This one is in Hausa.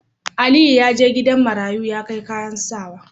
Aliyu yaje gidan marayu ya kai kayan sawa